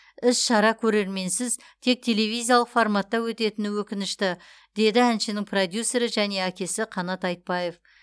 іс шара көрерменсіз тек телеаизиялық форматта өтетіні өкінішті деді әншінің продюсері және әкесі қанат айтбаев